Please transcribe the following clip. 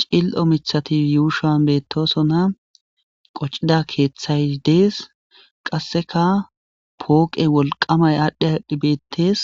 C'il'io mitati yushan betosona qoc'ida kethay des qaseka poqe wolqamay adhi adhi betes